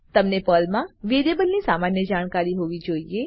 તમને પર્લમાં વેરીએબલની સામાન્ય જાણકારી હોવી જોઈએ